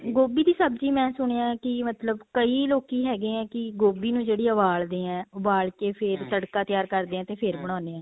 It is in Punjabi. ਗੋਭੀ ਦੀ ਸਬਜ਼ੀ ਮੈ ਸੁਣਿਆ ਹੈ ਕੀ ਮਤਲਬ ਕਈ ਲੋਕੀ ਹੈਗੇ ਹੈ ਕੀ ਗੋਭੀ ਨੂੰ ਜਿਹੜੇ ਉਬਾਲਦੇ ਹੈ ਉਬਾਲ ਕੇ ਫੇਰ ਤੜਕਾ ਤਿਆਰ ਕਰਦੇ ਆ ਤੇ ਫੇਰ ਬਣਾਉਣੇ ਆ